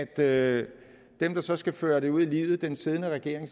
at dem der så skal føre det ud i livet den siddende regering